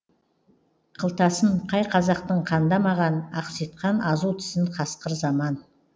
қылтасын қай қазақтың қандамаған ақситқан азу тісін қасқыр заман